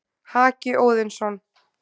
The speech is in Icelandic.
Haki Óðinsson,